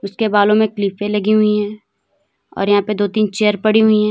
उसके बालों में क्लीपे लगी हुई है और यहां पे दो तीन चेयर पड़ी हुई हैं।